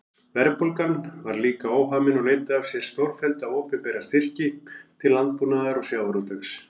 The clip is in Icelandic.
Verðbólgan var líka óhamin og leiddi af sér stórfellda opinbera styrki til landbúnaðar og sjávarútvegs.